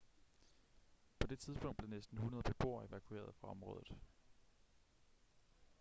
på det tidspunkt blev næsten 100 beboere evakueret fra området